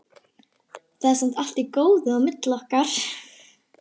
Það er samt allt í góðu á milli okkar.